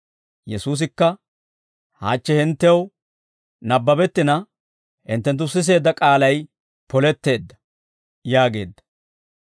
Yesuusikka, «Hachche hinttew nabbabettina hinttenttu siseedda k'aalay poletteedda» yaageedda.